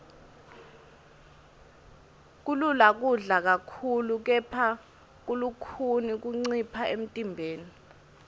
kulula kudla kakhulu kepha kulukhuni kuncipha emntimbeni